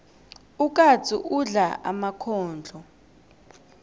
ukatsu udla emakhondlo